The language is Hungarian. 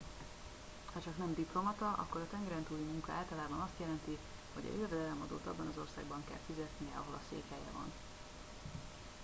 hacsak nem diplomata akkor a tengeren túli munka általában azt jelenti hogy a jövedelemadót abban az országban kell fizetnie ahol a székhelye van